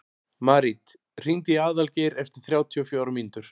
Marit, hringdu í Aðalgeir eftir þrjátíu og fjórar mínútur.